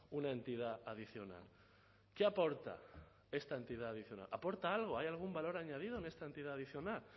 una entidad adicional qué aporta esta entidad adicional aporta algo hay algún valor añadido en esta entidad adicional